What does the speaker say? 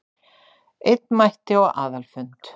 Einn mætti á aðalfund